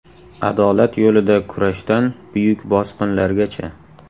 Adolat yo‘lida kurashdan buyuk bosqinlargacha.